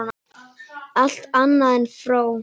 Allt annað en fró!